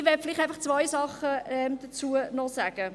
Ich möchte vielleicht einfach noch zwei Sachen dazu sagen.